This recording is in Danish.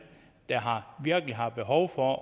der virkelig har behov for